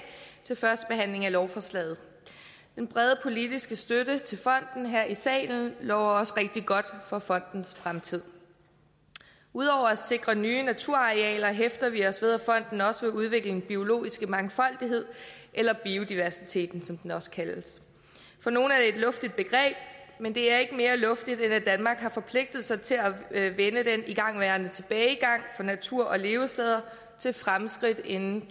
til førstebehandlingen af lovforslaget den brede politiske støtte til fonden her i salen lover også rigtig godt for fondens fremtid ud over at sikre nye naturarealer hæfter vi os ved at fonden også vil udvikle den biologiske mangfoldighed eller biodiversiteten som den også kaldes for nogle er det et luftigt begreb men det er ikke mere luftigt end at danmark har forpligtet sig til at vende den igangværende tilbagegang for natur og levesteder til fremskridt inden